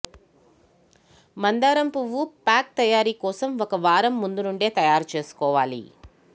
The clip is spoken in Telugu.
మందరం పువ్వు ప్యాక్ తయారీ కోసం ఒక వారం ముందు నుండే తయారుచేసుకోవాలి